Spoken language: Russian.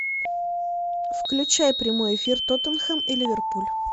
включай прямой эфир тоттенхэм и ливерпуль